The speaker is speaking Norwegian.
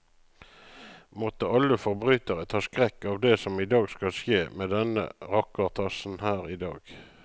Måtte alle forbrytere ta skrekk av det som skal skje med denne rakkertassen her idag.